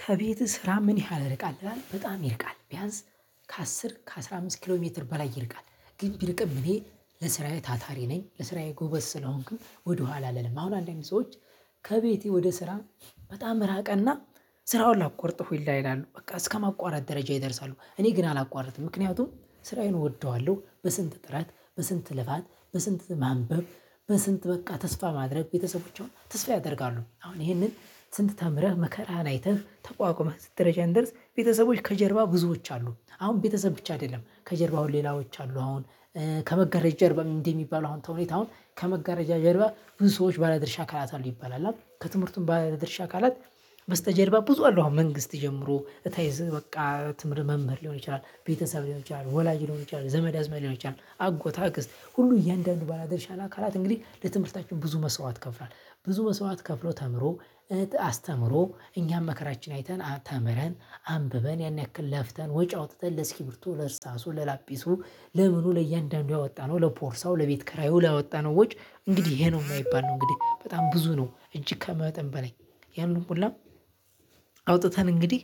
ከቤት ስራ ምን ያህል ርቃል ይላል በጣም ይርቃል ቢያንስ። ከአስር ከአስራ አምስት አምስት ኪሎ ሜትር በላይ ይርቃል። ግን ቢርቅም እኔ ለስራዬ ታታሪ ነኝ። ለስራዬ ጎበዝ ስለሆንክ ወደኋላ አልልም አሁን አንዳንድ ሰዎች። ከቤቴ ወደ ስራ በጣም ራቀና ስራውን ላቆርጥ ሁላ ይላል በቃ እስከማቋረጥ ደረጃ ይደርሳሉ። እኔ ግን አላቋርጥም ምክንያቱም ስራዬን እወደዋለሁ። በስንት ጥራት በስንት ልፋት በስንት ማንበብ በስንት በቃ ተስፋ ማድረግ ቤተሰቦችን ተስፋ ያደርጋሉ። አሁን ይሄንን ስንት ተምረህ መከራህን አይተህ ተቋቁመህ ስትረጃ እንደርስ ቤተሰቦች ከጀርባ ብዙዎች አሉ። አሁን ቤተሰብ ብቻ አይደለም ከጀርባው ሌላዎች አሉ። አሁን ከመጋረጃ ጀርባ ምን እንዲህ የሚባለው? አሁን ተውኔት አሁን ከመጋረጃ ጀርባ ብዙ ሰዎች ባለድርሻ ካላት አሉ ይባላል። እና ከትምህርቱም ባለድርሻ ካላት በስተጀርባ ብዙ አለው። አሁን መንግስት ጀምሮ እታይዝ በቃ ትምህርት መምህር ሊሆን ይችላል ቤተሰብ ሊሆን ይችላል ወላጅ ሊሆን ይችላል ዘመድ አዝማድ ሊሆን ይችላል አጎት አክስት ሁሉ እያንዳንዱ ባላደርሻ አካላት እንግዲህ ለትምህርታችሁ ብዙ መስዋዕት ከፍሏል። ብዙ መስዋዕት ከፍሎ ተምሮ አስተምሮ እኛም መከራችን አይተን ተምረን አንብበን ያን ያክል ለፍተን ወጪ አውጥተን ለስኪብርቱ ለርሳሱ ለላጲሱ። ለምኑ ለእያንዳንዱ ያወጣነው ለፖርሳው ለቤት ኪራዩ ያወጣነው ወጭ። እንግዲህ ይሄ ነው ማይባል ነው እንግዲህ በጣም ብዙ ነው። እጅግ ከመጠን በላይ ያንን ሁላ። አውጥተን እንግዲህ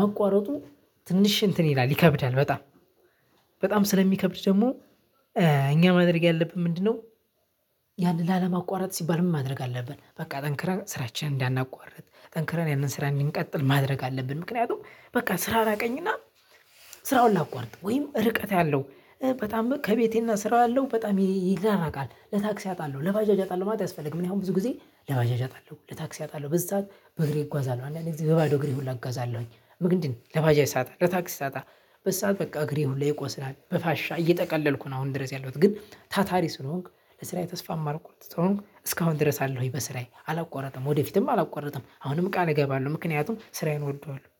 ማቋረጡ ትንሽ እንትን ይላል ይከብዳል። በጣም በጣም ስለሚከብድ ደግሞ እኛ ማድረግ ያለብን ምንድነው? ያንን ላለማቋረጥ ሲባል ምን ማድረግ አለብን? በቃ ጠንክረን ስራችንን እንዳናቋርጥ ጠንክረን ያንን ስራ እንድንቀጥል ማድረግ አለብን። ምክንያቱም በቃ ስራ እራቀኝና። ስራውን ላቋርጥ ወይም ርቀት ያለው በጣም ከቤቴና ስራው ያለው በጣም ይራራቃል ለታክሲ አጣለሁ ለባጃጅ አጣለሁ ማለት አያስፈልግም። እኔ አሁን ብዙ ጊዜ ለባጃጅ አጣለሁ ለታክሲ አጣለሁ በዚህ ሰዓት በእግሬ እጓዛለሁ። አንዳንዴ በባዶ እግሬ ሁላ እጓዛለሁኝ ምግድን ለባጃጅ ሳጣ ለታክሲ ሳጣ። በሰአት በቃ እግሬ ሁሌ ይቆስላል በፋሻ እየጠቀለልኩ ነው። አሁን ድረስ ያለሁት ግን ታታሪ ስሆንክ በስራዬ ተስፋ ማልቆርጥ ተሆንክ እስካሁን ድረስ አለሁኝ። በስራዬ አላቆረጥም ወደፊትም አላቆረጥም አሁንም ቃል እገባለሁ። ምክንያቱም ስራዬን እወደዋለሁ